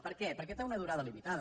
per què perquè té una durada limitada